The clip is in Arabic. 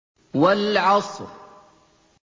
وَالْعَصْرِ